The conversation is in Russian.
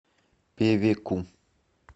певеку